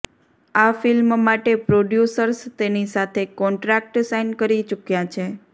આ ફિલ્મ માટે પ્રોડ્યુસર્સ તેની સાથે કોન્ટ્રાક્ટ સાઈન કરી ચુક્યા છે